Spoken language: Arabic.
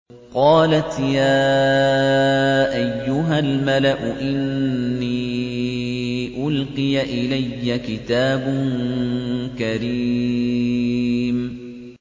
قَالَتْ يَا أَيُّهَا الْمَلَأُ إِنِّي أُلْقِيَ إِلَيَّ كِتَابٌ كَرِيمٌ